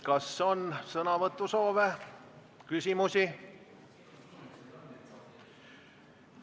Kas on sõnavõtusoove?